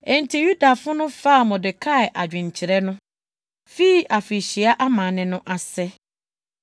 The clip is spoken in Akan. Enti Yudafo no faa Mordekai adwenkyerɛ no, fii afirihyia amanne no ase.